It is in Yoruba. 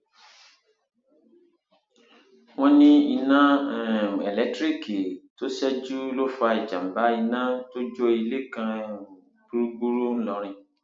wọn ní iná um elétíríìkì tó ṣẹjú ló fa ìjàmbá iná tó jó ilé kan um gbúgbúrú ńlórìn